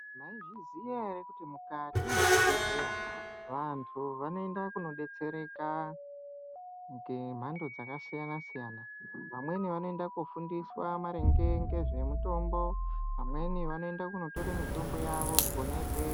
Mwaizviziya ere kuti mukati mwezvibhedhleya vantu vanoenda kunodetsereka ngemhando dzakasiyana siyana, vamweni vanoenda kofundiswa maringe ngezvemitombo amweni anoende kotore mitombo yawo kona ikweyo.